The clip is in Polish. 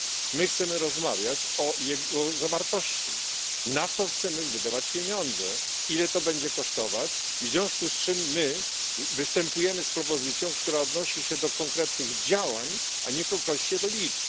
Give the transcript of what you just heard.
My chcemy rozmawiać o jego zawartości na co chcemy wydawać pieniądze, ile to będzie kosztować w związku z czym występujemy z propozycją, która odnosi się do konkretnych działań, a nie do liczb.